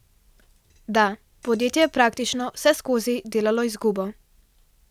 Da, podjetje je praktično vseskozi delalo izgubo.